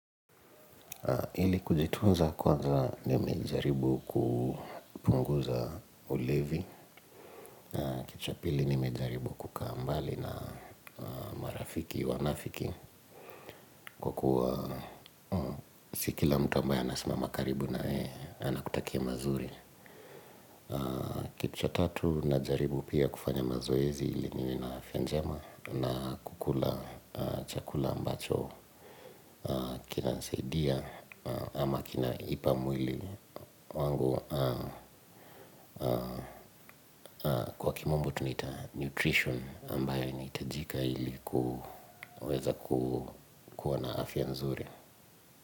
Ili kujitunza kwanza nimejaribu kupunguza ulevi, cha pili nimejaribu kukaa mbali na marafiki, wanafiki kwa kuwa si kila mtu ambaye anasimama karibu na wewe anakutakia mazuri. Kitu cha tatu najaribu pia kufanya mazoezi ili niwe na afya njema na kukula chakula ambacho kinanisaidia ama kinaipa mwili wangu kwa kimombo tunaita nutrition ambayo inahitajika ili kuweza kuwa na afya nzuri.